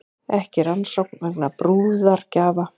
Ekki rannsókn vegna brúðargjafa